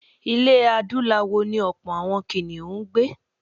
Ilẹ̀ Adúláwọ̀ ni ọ̀pọ̀ àwọn kìnìhún ń gbé.